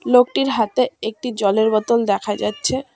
লোকটির হাতে একটি জলের বোতল দেখা যাচ্ছে।